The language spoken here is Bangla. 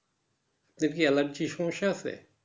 তোমার কি allergy এর সমস্যা আছে।